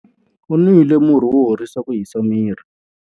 U nwile murhi wo horisa ku hisa miri.